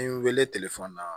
N ye n wele na